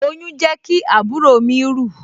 Oyún jẹ́ kí àbúrò mi rù